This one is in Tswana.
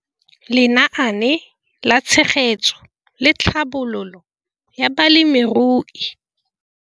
Lenaane la Tshegetso le Tlhabololo ya Balemirui